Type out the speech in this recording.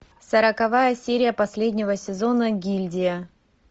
сороковая серия последнего сезона гильдия